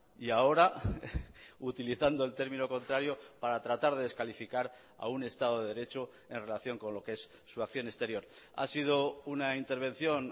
y ahora utilizando el término contrario para tratar de descalificar a un estado de derecho en relación con lo que es su acción exterior ha sido una intervención